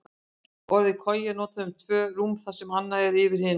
Orðið koja er notað um tvö rúm þar sem annað er yfir hinu.